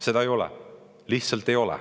Seda ei ole, lihtsalt ei ole.